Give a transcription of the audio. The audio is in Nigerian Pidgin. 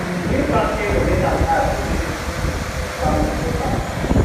new parking rule make am hard to visit family for town